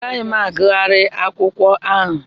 Agaghị m agughari akụkọ ahụ.